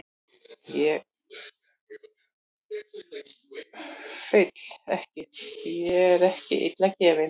Ég kláraði skólann og náði prófum, féll ekki, því ég er ekki illa gefinn.